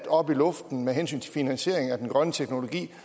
op i luften med hensyn til finansieringen af den grønne teknologi